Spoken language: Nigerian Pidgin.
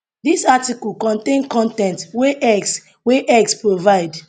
dis article contain con ten t wey x wey x provide